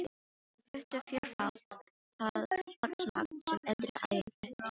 Hún flutti fjórfalt það vatnsmagn sem eldri æðin flutti.